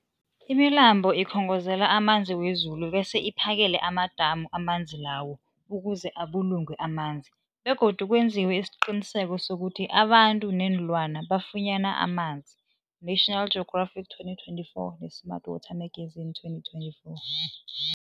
Imilambo ikhongozela amanzi wezulu bese iphakele amadamu amanzi lawo ukuze abulungwe amanzi begodu kwenziwe isiqiniseko sokuthi abantu neenlwana bafunyana amanzi, National Geographic 2024, ne-Smart Water Magazine 2024.